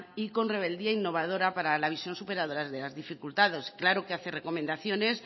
y son rebeldía innovadora para la visión superadoras de las dificultades claro que hace recomendaciones